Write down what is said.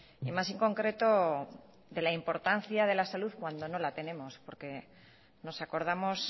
y más en concreto de la importancia de la salud cuando no la tenemos porque nos acordamos